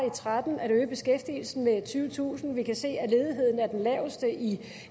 og tretten at øge beskæftigelsen med tyvetusind vi kan se at ledigheden er den laveste i